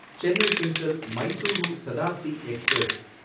Chennai central Mysuru Shatabdi express